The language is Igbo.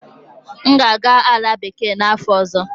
M ga-aga Ala bekee n'afọ ọzọ.